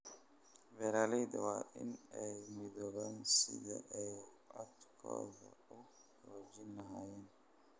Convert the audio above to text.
Beeralayda waa in ay u midoobaan sidii ay codkooda u xoojin lahaayeen.